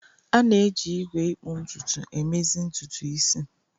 A na-eji igwe ikpu ntutu emezi ntutu isi.